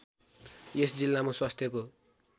यस जिल्लामा स्वास्थ्यको